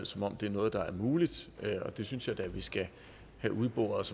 som om det er noget der er muligt og det synes jeg da at vi skal have udboret